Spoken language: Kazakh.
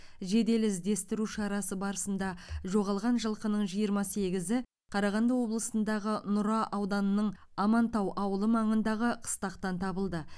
жедел іздестіру шарасы барысында жоғалған жылқының жиырма сегізі қарағанды облысындағы нұра ауданының амантау ауылы маңындағы қыстақтан табылды